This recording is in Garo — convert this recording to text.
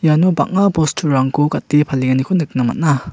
iano bang·a bosturangko gate palenganiko nikna man·a.